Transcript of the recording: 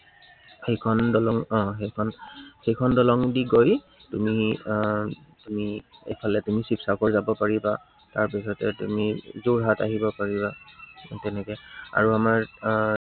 সেইখন দলং আহ সেইখন, সেইখন দলং দি গৈ তুমি আহ তুমি এইফালে তুমি শিৱসাগৰ যাব পাৰিবা, তাৰপিছতে তুমি যোৰহাট আহিব পাৰিবা, সেই তেনেকে আৰু আমাৰ আহ